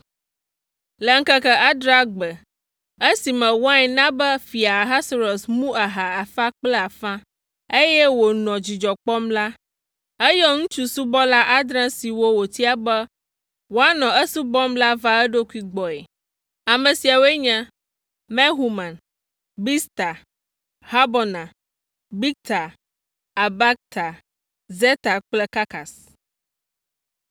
Le ŋkeke adrea gbe esime wain na be Fia Ahasuerus mu aha afã kple afã, eye wònɔ dzidzɔ kpɔm la, eyɔ ŋutsusubɔla adre siwo wotia be woanɔ esubɔm la va eɖokui gbɔe. Ame siawoe nye Mehuman, Bizta, Harbona, Bigta, Abagta, Zetar kple Karkas.